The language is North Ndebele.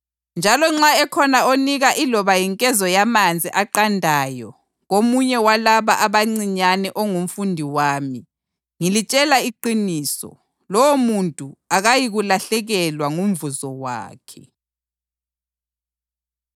Njalo nxa ekhona onika iloba yinkezo yamanzi aqandayo komunye walaba abancinyane ongumfundi wami, ngilitshela iqiniso, lowomuntu akayikulahlekelwa ngumvuzo wakhe.”